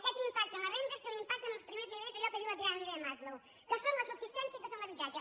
aquest impacte en les rendes té un impac·te en els primers nivells d’allò que diu la piràmide de maslow que són la subsistència i que són l’habitatge